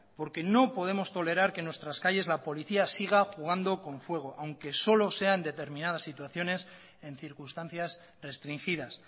porque no podemos tolerar que en nuestras calles la policía siga jugando con fuego aunque solo sea en determinadas situaciones en circunstancias restringidas